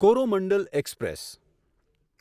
Coromandel express